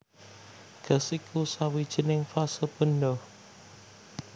Gas iku sawijining fase benda